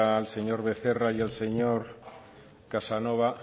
al señor becerra y al señor casanova